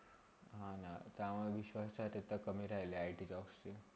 हा ना, त्यावर विश्वास आता तर कमी राहिला आहे ITjobs शी